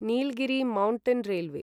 Nilgiri mountain railway